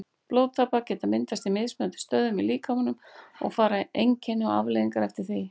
Blóðtappar geta myndast á mismunandi stöðum í líkamanum og fara einkenni og afleiðingar eftir því.